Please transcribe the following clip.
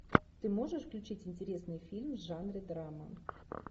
ты можешь включить интересный фильм в жанре драма